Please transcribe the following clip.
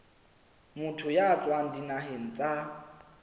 motho ya tswang dinaheng tsa